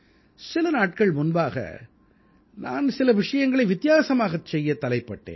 சில நாட்கள் முன்பாக நான் சில விஷயங்களை வித்தியாசமாகச் செய்யத் தலைப்பட்டேன்